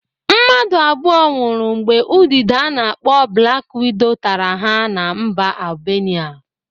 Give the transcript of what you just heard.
Mmadụ abụo nwụrụ mgbe udide a na-akpọ blak wido tara ha na mba Albenia.